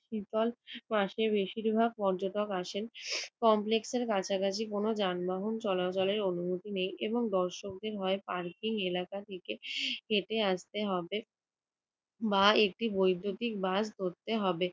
শীতল মাসে বেশিরভাগ পর্যটক আসেন। কমপ্লেক্সের কাছাকাছি কোন যানবাহন চলাচলের অনুমতি নেই এবং দর্শকদের হয় পার্কিং এলাকা থেকে হেঁটে আসতে হবে বা একটি বৈদ্যুতিক বাস ধরতে হবে।